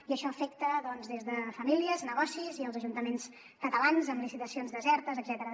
i això afecta doncs des de famílies fins a negocis i els ajuntaments catalans amb licitacions desertes etcètera